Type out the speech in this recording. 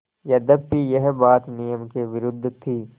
यद्यपि यह बात नियम के विरुद्ध थी